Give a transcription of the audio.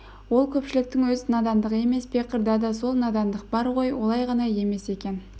ол көпшіліктің өз надандығы емес пе қырда да сол надандық бар ғой олай ғана емес екен